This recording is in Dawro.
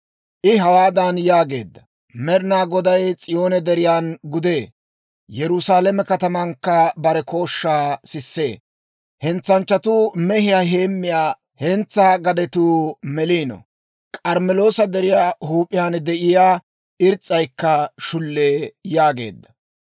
I hawaadan yaageedda; «Med'inaa Goday S'iyoone Deriyan gudee; Yerusaalame katamankka bare kooshshaa sissee. Hentsanchchatuu mehiyaa heemmiyaa hentsaa gadetuu meliino; K'armmeloosa Deriyaa huup'iyaan de'iyaa irs's'aykka shullee» yaageedda.